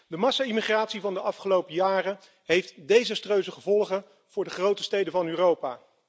De massale immigratie van de afgelopen jaren heeft desastreuze gevolgen voor de grote steden van Europa.